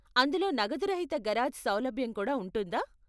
అందులో నగదురహిత గరాజ్ సౌలభ్యం కూడా ఉంటుందా?